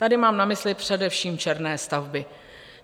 Tady mám na mysli především černé stavby.